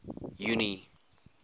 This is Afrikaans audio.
junie